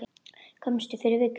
Komstu fyrir viku?